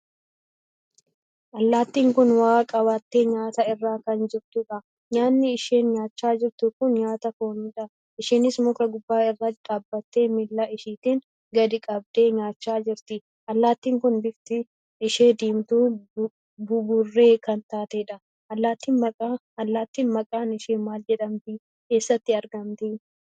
Allaattiin kun waa qabattee nyaata irraa kan jirtuudha. nyaanni isheen nyaachaa jirtu kun nyaata fooniidha. isheenis muka gubbaa irra dhaabbattee miillaa isheetiin gadi qabdee nyaachaa jirti. Allaattiin Kun bifti ishee diimtuu buburree kan taateedha. Allaattiin maqaan ishee maal jedhamti? eessatti argamti?